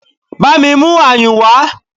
Bámi mú ayùn wá!